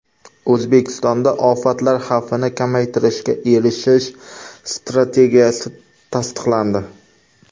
O‘zbekistonda ofatlar xavfini kamaytirishga erishish strategiyasi tasdiqlandi.